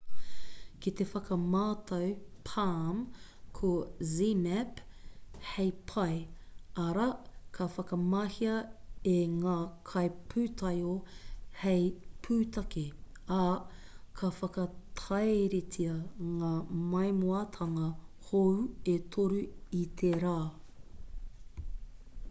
ki te whakamātau palm ko zmapp hei pae arā ka whakamahia e ngā kaipūtaiao hei pūtake ā ka whakatairitea ngā maimoatanga hou e toru i tērā